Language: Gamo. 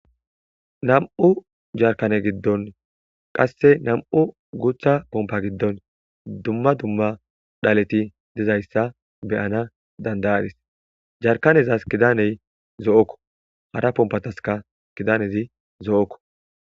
nam7u jarkane giddon qasse nam7u gutha pompa giddon dumma dumma dhaleti dizayssa beyana dandayadis jarkanezas kidaney zo7okko hara pompataska kidanezi zo7okko